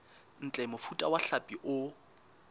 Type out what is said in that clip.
ntle mofuta wa hlapi o